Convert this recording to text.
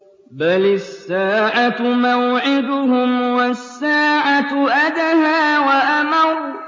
بَلِ السَّاعَةُ مَوْعِدُهُمْ وَالسَّاعَةُ أَدْهَىٰ وَأَمَرُّ